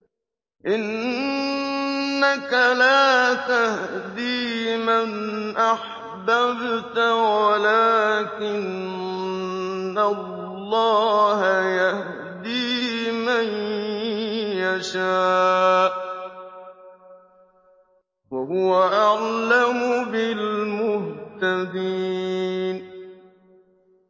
إِنَّكَ لَا تَهْدِي مَنْ أَحْبَبْتَ وَلَٰكِنَّ اللَّهَ يَهْدِي مَن يَشَاءُ ۚ وَهُوَ أَعْلَمُ بِالْمُهْتَدِينَ